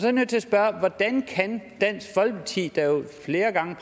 er nødt til at spørge hvordan kan dansk folkeparti der jo flere gange